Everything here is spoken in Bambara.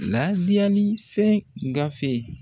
Ladiyali fɛn gafe